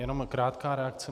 Jenom krátká reakce.